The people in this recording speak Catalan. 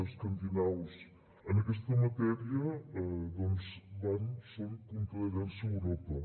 escandinaus en aquesta matèria doncs van són punta de llança a europa